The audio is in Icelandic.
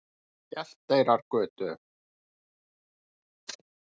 Hjalteyrargötu